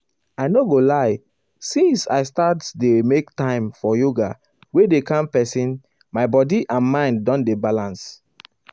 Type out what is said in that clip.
i no go lie since um i start dey make time um for yoga wey dey calm person my body and mind don dey balance well.